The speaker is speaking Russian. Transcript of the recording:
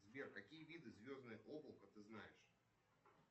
сбер какие виды звездное облако ты знаешь